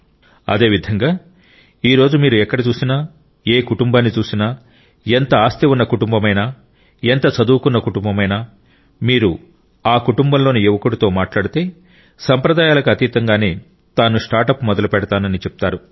అదేవిధంగా ఈ రోజు మీరు ఎక్కడ చూసినా ఏ కుటుంబాన్ని చూసినా ఎంత ఆస్తి ఉన్న కుటుంబమైనా ఎంత చదువుకున్న కుటుంబమైనా మీరు ఆ కుటుంబంలోని యువకుడితో మాట్లాడితే సంప్రదాయాలకు అతీతంగానే తాను స్టార్ట్అప్ మొదలు పెడతానని చెప్తారు